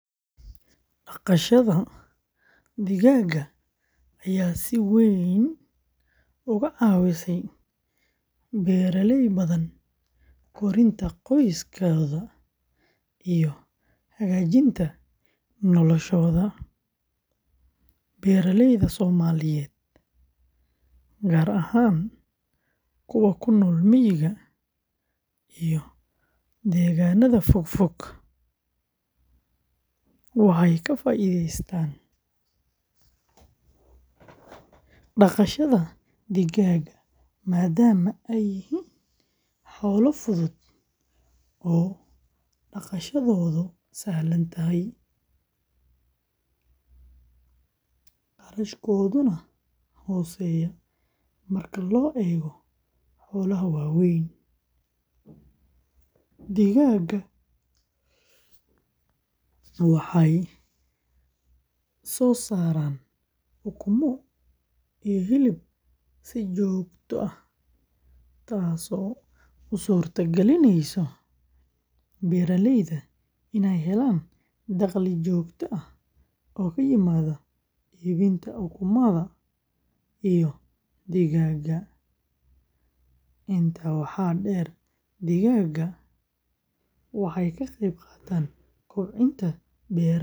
Haa, dhaqashada digaaga ayaa si weyn uga caawisay beeralay badan korinta qoysaskooda iyo hagaajinta noloshooda. Beeralayda Soomaaliyeed, gaar ahaan kuwa ku nool miyiga iyo deegaanada fogfog, waxay ka faa’iideystaan dhaqashada digaaga maadaama ay yihiin xoolo fudud oo dhaqashadoodu sahlan tahay, kharashkooduna hooseeyo marka loo eego xoolaha waaweyn. Digaaga waxay soo saaraan ukumo iyo hilib si joogto ah taasoo u suurtogelinaysa beeralayda inay helaan dakhli joogto ah oo ka yimaada iibinta ukumaha iyo digaaga. Intaa waxaa dheer, digaaga waxay ka qayb qaataan kobcinta beeraha.